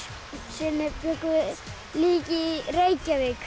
sinni bjuggum við líka í Reykjavík